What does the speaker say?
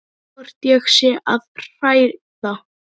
Hvort ég sé að hræða.